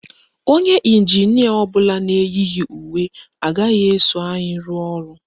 Onye ịnjinịa ọbụla na-eyighi uwe agaghị eso anyị rụọ ọrụ